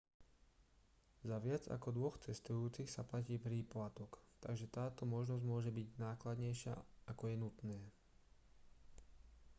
za viac ako 2 cestujúcich sa platí príplatok takže táto možnosť môže byť nákladnejšia ako je nutné